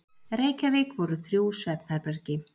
Reykjavík voru þrjú svefnherbergi.